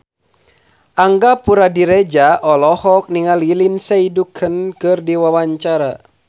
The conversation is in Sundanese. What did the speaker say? Angga Puradiredja olohok ningali Lindsay Ducan keur diwawancara